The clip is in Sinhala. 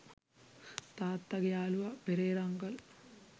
තාත්තගෙ යාළුවා පෙරේරා අංකල්.